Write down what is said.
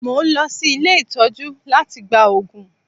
Mo ń lọ sí ilé ìtọ́jú láti gba òògùn